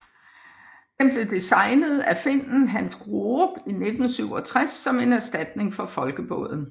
Den blev designet af finnen Hans Groop i 1967 som en erstatning for Folkebåden